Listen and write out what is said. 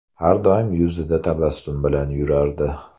Har doim yuzida tabassum bilan yurardi”.